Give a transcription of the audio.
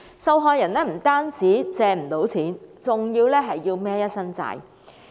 受害人不單無法借到錢，還要背負一身債項。